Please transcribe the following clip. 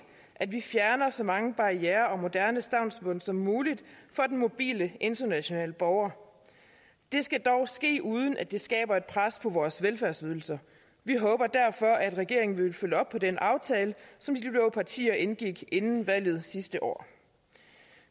at vi fjerner så mange barrierer og moderne stavnsbånd som muligt for den mobile internationale borger det skal dog ske uden at det skaber et pres på vores velfærdsydelser vi håber derfor at regeringen vil følge op på den aftale som de blå partier indgik inden valget sidste år